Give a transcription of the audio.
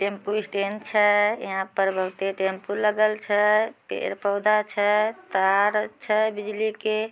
Tempo stand छै। यहाँ पर बहुते टेम्पो लगल छै। पेड़-पौधा छै तार छै बिजली के।